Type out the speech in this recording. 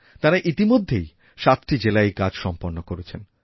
তাঁরা ইতিমধ্যেই সাতটি জেলায় এই কাজ সম্পন্ন করেছেন